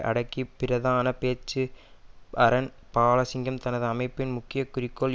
அடுக்கி பிரதான பேச்சு அன்ரன் பாலசிங்கம் தனது அமைப்பின் முக்கிய குறிக்கோள்